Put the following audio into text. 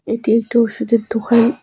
এটি একটি ওষুধের দোকান।